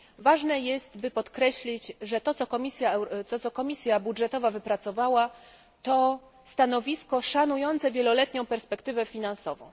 Ważne jest, by podkreślić, że to, co Komisja Budżetowa wypracowała, to stanowisko szanujące wieloletnią perspektywę finansową.